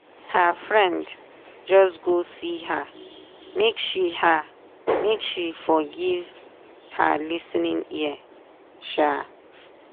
her friend just go see her make she her make she for give her lis ten ing ear um